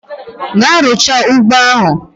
Gaa rucha ụgbọ ahu!